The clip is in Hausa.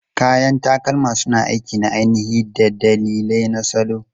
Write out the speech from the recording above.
Kayan takalma suna aiki na ainihi da dalilai na salo.